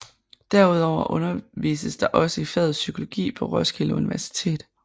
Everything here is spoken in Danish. Derudover undervises der også i faget psykologi på Roskilde Universitet